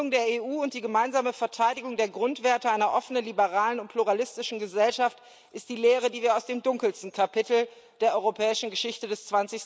Die Gründung der Europäischen Union und die gemeinsame Verteidigung der Grundwerte einer offenen, liberalen und pluralistischen Gesellschaft sind die Lehren, die wir aus dem dunkelsten Kapitel der europäischen Geschichte des